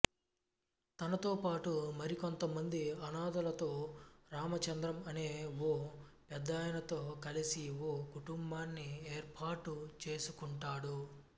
తనతో పాటు మరికొంతమంది అనాథలతో రామచంద్రం అనే ఓ పెద్దాయనతో కలిసి ఓ కుటుంబాన్ని ఏర్పాటు చేసుకుంటాడు